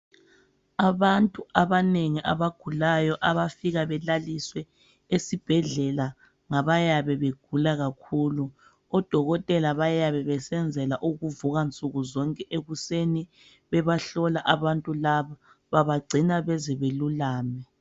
Abantu abanengi abagulayo abafika belaliswe esibhedlela ngabayabe begula kakhulu. Odokotela bayabe besenzela ukuvuka nsuku zonke ekuseni bebahlola abantu laba babagcina bezebelulame.